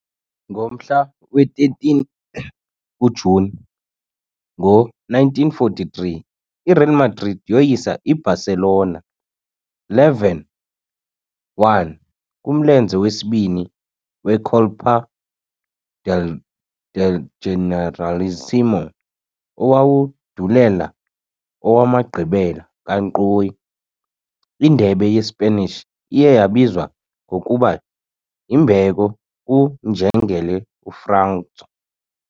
Ngomhla we-13 kuJuni ngo-1943, iReal Madrid yoyisa i-Barcelona 11-1 kumlenze wesibini we- Copa del del Generalísimo owandulela owamagqibela kankqoyi, iNdebe yeSpanish iye yabizwa ngokuba yimbeko kuNjengele uFranco.